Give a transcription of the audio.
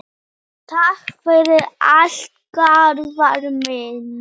Takk fyrir allt, Garðar minn.